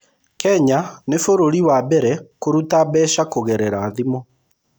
Kenya nĩ bũrũri wa mbere kũruta mbeca kũgerera thimũ.